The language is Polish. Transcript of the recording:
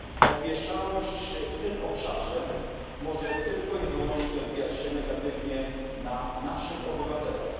Opieszałość w tym obszarze może tylko i wyłącznie odbijać się negatywnie na naszych obywatelach.